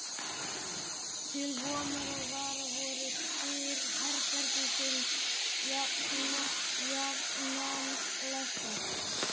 Til vonar og vara voru dyr herbergisins jafnan læstar.